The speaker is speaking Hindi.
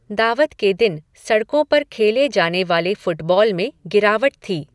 दावत के दिन सड़कों पर खेले जाने वाले फ़ुटबॉल में गिरावट थी।